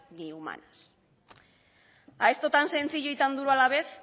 ni humanas a esto tan sencillo y tan duro a la vez